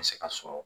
Se ka sɔrɔ